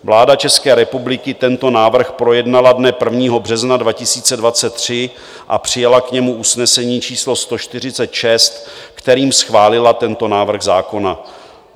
Vláda České republiky tento návrh projednala dne 1. března 2023 a přijala k němu usnesení č. 146, kterým schválila tento návrh zákona.